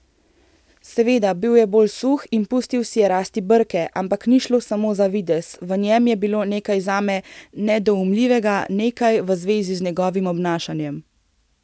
Seveda, bil je bolj suh in pustil si je rasti brke, ampak ni šlo samo za videz, v njem je bilo nekaj zame nedoumljivega, nekaj v zvezi z njegovim obnašanjem.